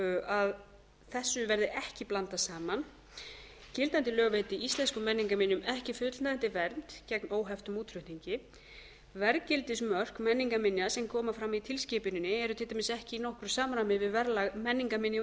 að þessu verði ekki blandað saman gildandi lög veiti íslenskum menningarminjum ekki fullnægjandi vernd gegn óheftum útflutningi verðgildismörk menningarminja sem koma fram í tilskipuninni eru til dæmis ekki í nokkru samræmi við verðlag menningarminja á